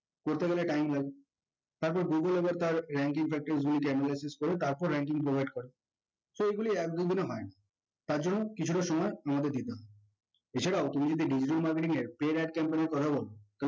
করতে গেলে time লাগে তারপর google আবার তার ranking factors analysis করে তারপর ranking provide করে so এগুলি একজীবনে হয় না তার জন্য কিছুটা সময় আমাদের দিতে হয় এছাড়া তুমি যদি digital marketing এর paid ad campaign এর কথা বোলো